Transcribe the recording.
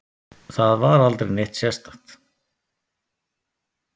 Það var aldrei neitt sérstakt.